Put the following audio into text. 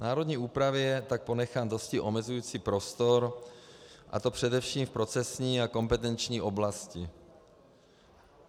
Národní úpravě je tak ponechán dosti omezující prostor, a to především v procesní a kompetenční oblasti.